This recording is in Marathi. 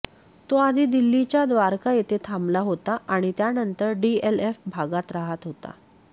तो आधी दिल्लीच्या द्वारका येथे थांबला होता आणि त्यानंतर डीएलएफ भागात राहत होता